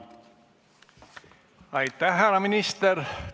Aitäh, härra minister!